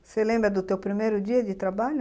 Você lembra do teu primeiro dia de trabalho?